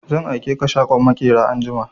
Zan aike ka shagon maƙera anjima!